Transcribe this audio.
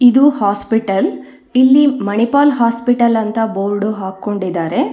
ಇದು ಹಾಸ್ಪಿಟಲ್ ಇಲ್ಲಿ ಮಣಿಪಾಲ್ ಹಾಸ್ಪಿಟಲ್ ಅಂತ ಬೋರ್ಡು ಹಾಕಕೊಂಡಿದಾರೆ.